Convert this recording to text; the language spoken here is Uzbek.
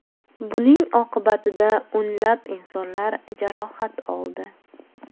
Buning oqibatida o‘nlab insonlar jarohat oldi.